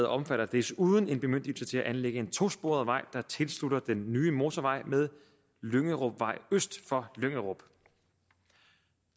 omfatter desuden en bemyndigelse til at anlægge en tosporet vej der tilslutter den nye motorvej med lyngerupvej øst for lyngerup